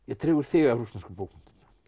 dregur þig að rússneskum bókmenntum